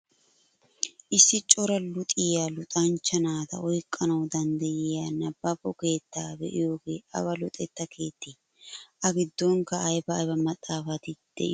Issi cora luxxiyaa luxxanchcha naata oyqqanawu danddiyaa nibaabo keettaa be'iyoogee awa luxetta keettee? A giddonkka ayba ayba maxaafati de'iyoonaa eretii?